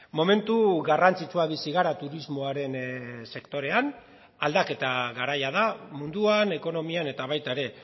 momentu garrantzitsua bizi gara turismoaren sektorean aldaketa garaia da munduan ekonomian eta baita ere